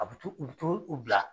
A be to, u bi t'o bila.